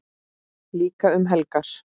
Líka um helgar.